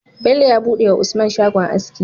Bello ya buɗe wa usman shagon aski